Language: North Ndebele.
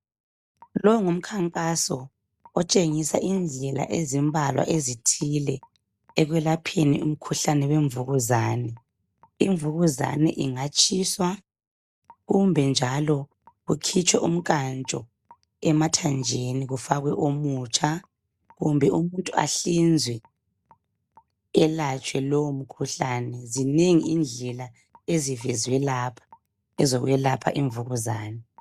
Lo ngumkhankaso itshengisela indlela ezimbalwa ezithile ekwelapheni umkhuhlane wemvukuzane imvukuzane ingatshiswa kumbe njalo kungakhitshwa umnkantsho emithanjeni kufakwe omutsha kumbe umuntu ahlinzwe elatshwe lowo mkhuhlane , zinengi indlela ezivezwe lapha.